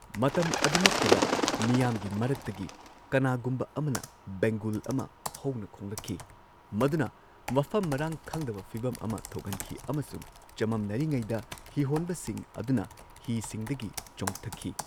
ꯃꯇꯝ ꯑꯗꯨꯃꯛꯇꯗ ꯃꯤꯌꯥꯝꯒꯤ ꯃꯔꯛꯇꯒꯤ ꯀꯅꯥꯒꯨꯝꯕ ꯑꯃꯅ ꯕꯦꯡꯒꯨꯜ ꯑꯃ ꯍꯧꯅ ꯈꯣꯡꯂꯛꯈꯤ, ꯃꯗꯨꯅ ꯃꯐꯝ ꯃꯔꯥꯡ ꯈꯪꯗꯕ ꯐꯤꯚꯝ ꯑꯃ ꯊꯣꯛꯍꯟꯈꯤ ꯑꯃꯁꯨꯡ ꯆꯃꯝꯅꯔꯤꯉꯩꯗ, ꯍꯤꯍꯣꯟꯕꯁꯤꯡ ꯑꯗꯨꯅ ꯍꯤꯁꯤꯡꯗꯒꯤ ꯆꯣꯡꯊꯈꯤ꯫